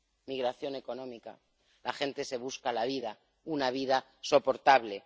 Migración económica, la gente se busca la vida, una vida soportable.